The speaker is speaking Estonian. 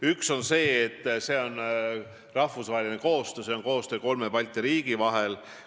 Üks on rahvusvaheline koostöö, koostöö kolme Balti riigi vahel.